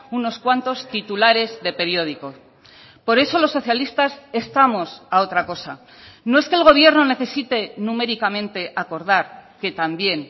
unos cuantos titulares de periódicos por eso los socialistas estamos a otra cosa no es que el gobierno necesite numéricamente acordar que también